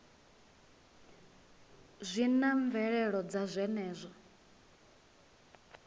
zwi na mvelelo dza zwenezwo